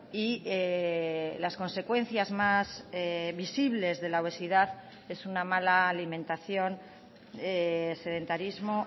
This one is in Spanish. y las consecuencias más visibles de la obesidad es una mala alimentación sedentarismo